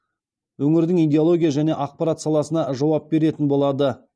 өңірдің идеология және ақпарат саласына жауап беретін болады